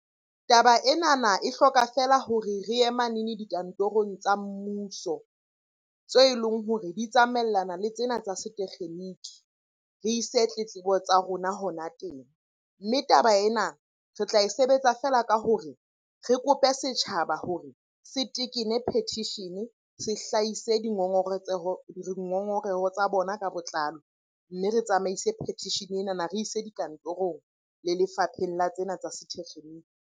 Taba enana e hloka fela hore re ye manene dikantorong tsa mmuso tse leng hore di tsamaellana le tsena tsa setekgeniki, re ise tletlebo tsa rona hona teng. Mme taba ena re tla e sebetsa feela ka hore re kope setjhaba hore se tekene petition, se hlahise dingongoreho tsa bona ka botlalo. Mme re tsamaise petition enana, re ise dikantorong le lefapheng la tsena tsa setekgeniki.